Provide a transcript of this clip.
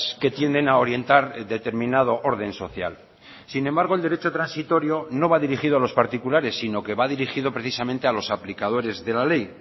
que tienden a orientar determinado orden social sin embargo el derecho transitorio no va dirigido a los particulares sino que va dirigido precisamente a los aplicadores de la ley